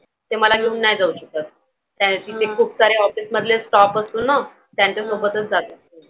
ते मला घेऊन नाही जाऊ शकत. त्यांचे ते खुपसारे office मधले staff असतो ना त्यांच्यासोबतच जातात ते.